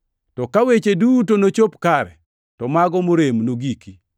to ka weche duto nochop kare, to mago morem nogiki.